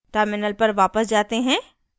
terminal पर वापस जाते हैं